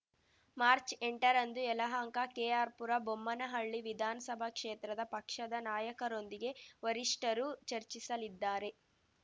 ಮಾರ್ಚ್ಎಂಟರಂದು ಯಲಹಂಕ ಕೆಆರ್‌ಪುರ ಬೊಮ್ಮನಹಳ್ಳಿ ವಿಧಾನ್ಸಭಾ ಕ್ಷೇತ್ರದ ಪಕ್ಷದ ನಾಯಕರೊಂದಿಗೆ ವರಿಷ್ಠರು ಚರ್ಚಿಸಲಿದ್ದಾರೆ